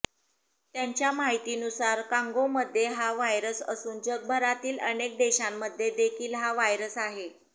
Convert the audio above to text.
त्यांच्या माहितीनुसार कांगोमध्ये हा व्हायरस असून जगभरातील अनेक देशांमध्ये देखील हा व्हायरस आहे